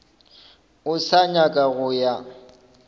o sa nyaka go ya